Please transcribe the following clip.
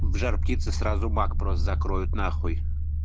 в жар-птице сразу бак просто закроют нахуй